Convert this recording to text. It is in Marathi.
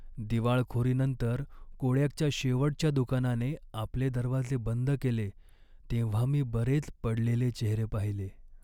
दिवाळखोरीनंतर कोडॅकच्या शेवटच्या दुकानाने आपले दरवाजे बंद केले तेव्हा मी बरेच पडलेले चेहरे पाहिले.